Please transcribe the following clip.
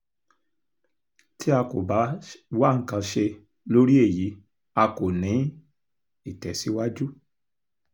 tí a kò bá wá nǹkan ṣe lórí èyí a kò ní í tẹ̀síwájú